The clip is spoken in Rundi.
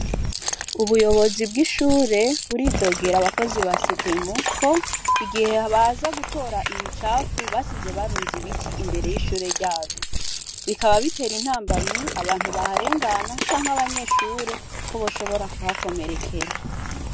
Ubuyobozi bw'ishure buridogera abakozi ba setemo ko igihe baze gutora imicafu basize barunze ibiti imbere y'ishure ryabo. Bikaba bitera intambamyi abantu baharengana canke abanyeshure ko bashobora kuhakomerekera.